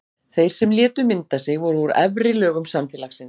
Þeir sem létu mynda sig voru úr efri lögum samfélagsins.